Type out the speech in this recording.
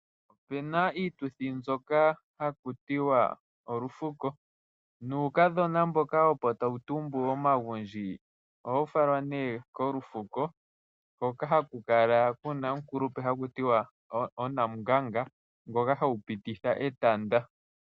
Opuna iituthi mbyoka hakutiwa olufuko, nuukadhona mboka opo tawu tumbu omagundji, ohawu falwa nee kolufuko, hoka haku kala kuna omukulupe haku tiwa oNamunganga, ngoka hewu pititha etanda.